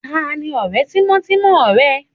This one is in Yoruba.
Tani ọ̀rẹ́ tímọ́tímọ́ ẹ?